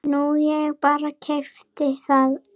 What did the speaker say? Nú ég bara. keypti það.